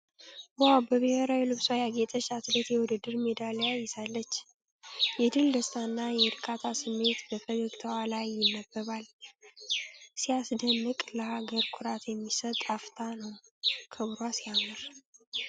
ዋው! በብሔራዊ ልብሷ ያጌጠች አትሌት የውድድር ሜዳሊያ ይዛለች። የድል ደስታና የእርካታ ስሜት በፈገግታዋ ላይ ይነበባል። ሲያስደንቅ! ለሀገር ኩራት የሚሰጥ አፍታ ነው። ክብሯ ሲያምር!